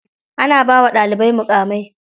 Ana bawa ɗalibai muƙamai.